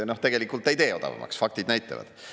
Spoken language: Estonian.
Tegelikult ei tee odavamaks, faktid näitavad.